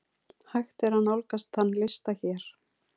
Hægt er nálgast þann lista hér.